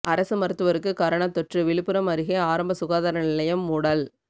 அரசு மருத்துவருக்கு கரோனா தொற்றுவிழுப்புரம் அருகே ஆரம்ப சுகாதார நிலையம் மூடல்